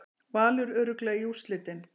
Valur örugglega í úrslitin